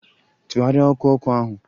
Tụgharịa ọkụ ọkụ ahụ!